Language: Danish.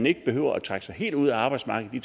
ikke behøvede at trække sig helt ud af arbejdsmarkedet i